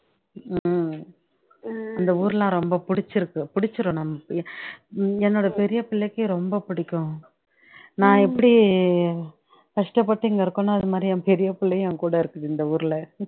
உம் இந்த ஊருலாம் ரொம்ப புடிச்சுருக்கு புடிச்சுரும் நம்ம பிள்ள என்னோட பெரியபிள்ளைக்கு ரொம்ப பிடிக்கும் நான் எப்படி கஷ்டப்பட்டு இங்கே இருக்கேனோ அதுமாரி என் பெரியள்ளையும் எங்கூட இருக்குது இந்த ஊருலே